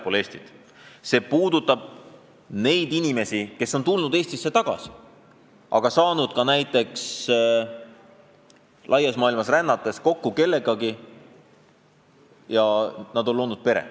Küsimus puudutab ka neid inimesi, kes on tulnud Eestisse tagasi, olles saanud laias maailmas rännates kokku kellegagi, kellega on loodud pere.